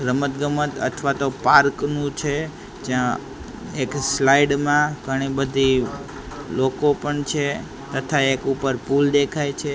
રમતગમત અથવા તો પાર્ક નું છે જ્યાં એક સ્લાઇડ મા ઘણી બધી લોકો પણ છે તથા એક ઉપર પુલ દેખાય છે.